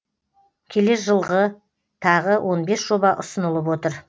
келер жылғы тағы он бес жоба ұсынылып отыр